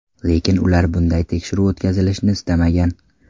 Lekin ular bunday tekshiruv o‘tkazilishini istamagan.